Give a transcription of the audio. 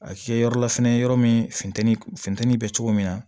A kɛ yɔrɔ la fɛnɛ yɔrɔ min funteni funteni bɛ cogo min na